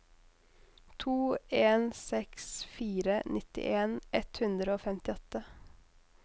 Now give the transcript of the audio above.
to en seks fire nittien ett hundre og femtiåtte